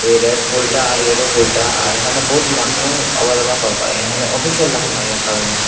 এই রেড ফুলটা আর ইয়েলো ফুলটা আর এখানে বহুত মানুহ আলাদা আলাদা খবর পাই এখানে অফিসিয়াল লাইন লাগে একটা রুম ।